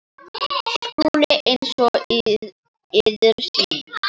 SKÚLI: Eins og yður sýnist.